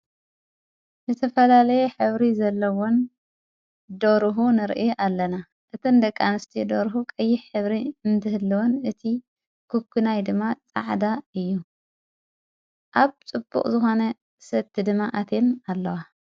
ንቲ ፈላለየ ኅብሪ ዘለዎን ደሩሁ ንርኢ ኣለና እቲን ደቃንስቲ ዶሩሁ ቀይሕ ኅብሪ እንትህልወን እቲ ኽክናይ ድማ ጻዕዳ እዩ ኣብ ጽቡቕ ዙኾነ ሰቲ ድማ ኣቴም ኣለዋ።